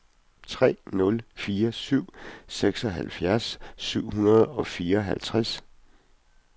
tre nul fire syv seksoghalvfjerds syv hundrede og fireoghalvtreds